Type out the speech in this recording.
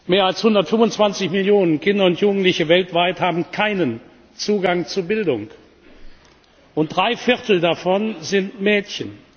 Mehr als 125 Millionen Kinder und Jugendliche weltweit haben keinen Zugang zu Bildung und drei Viertel davon sind Mädchen!